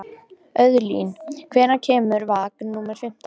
Auðlín, hvenær kemur vagn númer fimmtán?